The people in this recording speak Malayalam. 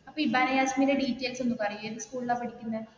ഇപ്പൊ ഇബാന ജാസ്മിന്റെ ഡിറ്റയിൽസ് ഒന്ന് പറയോ ഏതു സ്കൂളിലാണ് പഠിക്കുന്നേ?